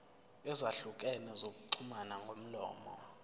ezahlukene zokuxhumana ngomlomo